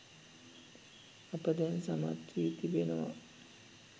අප දැන් සමත් වී තිබෙනවා